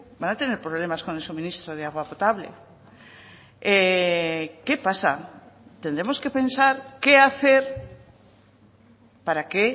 van a tener problemas con el suministro de agua potable qué pasa tendremos que pensar qué hacer para que